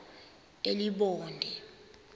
elibode